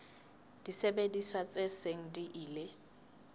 disebediswa tse seng di ile